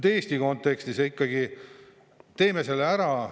Eesti kontekstis ikkagi teeme selle ära.